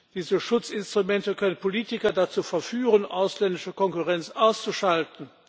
Diese Schutzinstrumente können Politiker dazu verführen, ausländische Konkurrenz auszuschalten.